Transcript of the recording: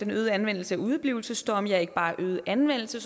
øgede anvendelse af udeblivelsesdomme ja ikke bare en øget anvendelse